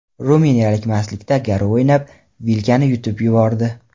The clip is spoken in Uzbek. Ruminiyalik mastlikda garov o‘ynab, vilkani yutib yubordi.